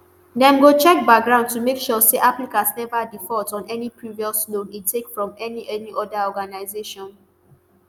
dem go check background to make sure say applicant neva default on any previous loan e take from any any oda organisation